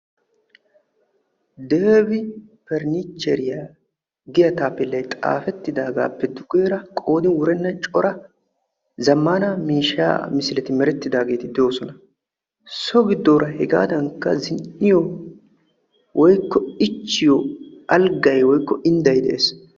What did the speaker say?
Debi perinichcheriyaa giyaa taapeellay xaafettidagappe duge baggaara qoodin wurenna cora zammaana miishshaa misileti doosona. so giddoora hegaadankka zin"iyoo woykko ichchiyoo indday de'ees.